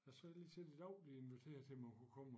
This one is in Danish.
Ja så har jeg lige set i dag de inviterede til man kunne komme og